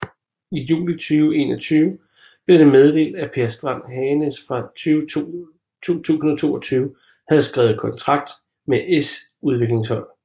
I juli 2021 blev det meddelt at Per Strand Hagenes fra 2022 havde skrevet kontrakt med s udviklingshold